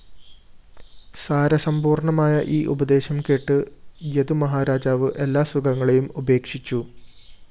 സാരസമ്പൂര്‍ണമായ ഈ ഉപദേശം കേട്ട് യദുമഹാരാജാവ് എല്ലാ സുഖങ്ങളെയും ഉപേക്ഷിച്ചു